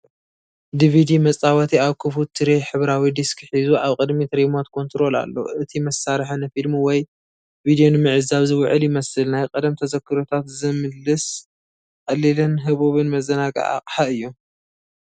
ዲቪዲ መጻወቲ ኣብ ክፉት ትሬይ ሕብራዊ ዲስክ ሒዙ፣ ኣብ ቅድሚት ሪሞት ኮንትሮል ኣሎ፡፡ እቲ መሳርሒ ንፊልም ወይ ቪድዮ ንምዕዛብ ዝውዕል ይመስል። ናይ ቀደም ተዘክሮታት ዘምልስ ቀሊልን ህቡብን መዘናግዒ ኣቕሓ እዩ፡፡